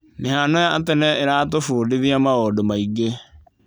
Mĩhano ya tene ĩratũbundithia maũndũ maingĩ.